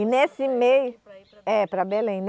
E nesse meio, Para ir para. É, para Belém.